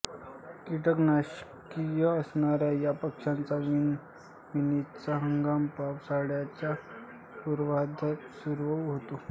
किटकभक्षी असणाऱ्या या पक्षाचा विणीचा हंगाम पावसाळ्याच्या पूर्वार्धात सुरू होतो